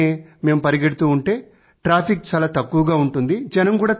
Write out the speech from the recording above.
పొద్దుటే మేము పరిగెడుతుంటే ట్రాఫిక్ తక్కువగా ఉంటుంది